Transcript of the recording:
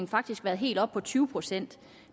faktisk været helt oppe på tyve procent